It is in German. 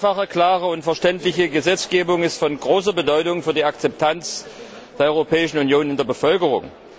Eine einfache, klare und verständliche Gesetzgebung ist von großer Bedeutung für die Akzeptanz der Europäischen Union in der Bevölkerung.